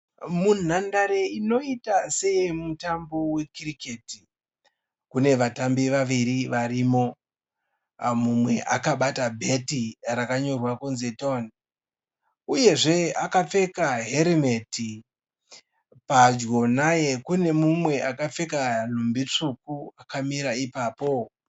Munhandare inoita seyemutambo wekiriketi kune vatambi vaviri varimo. Mumwe akabata bheti rakanyorwa kunzi TON uyezve akapfeka herimeti. Padyo naye kune mumwe akapfeka nhumbi tsvuku akamira ipapo.